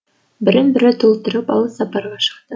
бірін бірі толтырып алыс сапарға шықты